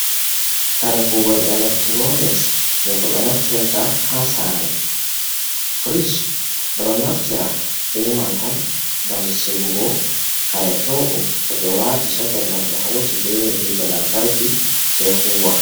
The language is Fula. Kare kugol electronics je ko ɓe naftirta ha sare, frich ɓe ɗon naftira be man on gam sigugo kare pewɗum to ɓe wati soket man ɓe hauti be hite lantarki sei huwa.